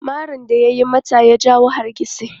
Marin da ya yi mata ya jawo hargitsi.